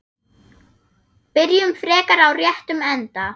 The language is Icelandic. Byrjum frekar á réttum enda.